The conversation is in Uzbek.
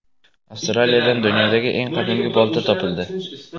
Avstraliyadan dunyodagi eng qadimgi bolta topildi.